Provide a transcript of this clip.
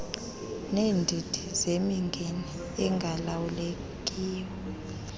neendidi zemingeni engalawulekiyo